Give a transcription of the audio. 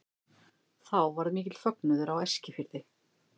Þá varð mikill fögnuður á Eskifirði.